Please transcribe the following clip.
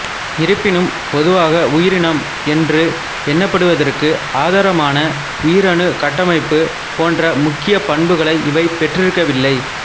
இருப்பினும் பொதுவாக உயிரினம் என்று எண்ணப்படுவதற்கு ஆதாரமான உயிரணுக் கட்டமைப்பு போன்ற முக்கிய பண்புகளை இவை பெற்றிருக்கவில்லை